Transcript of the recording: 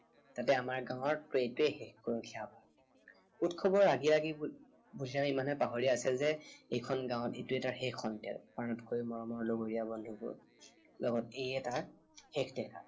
তাতে আমাৰ গাঁৱত তোৰ এইটোৱেই শেষ গৰখীয়া সবাহ। উৎসৱৰ ৰাগিয়নিত বুদ্ধিৰামে ইমানেই পাহৰি আছিল যে এইখন গাঁৱত এইটোৱেই তাৰ শেষ সন্ধিয়া। আটাইতকৈ মৰমিয়াল লগৰীয়া বন্ধুবোৰৰ লগত এয়েই তাৰ শেষ দেখা।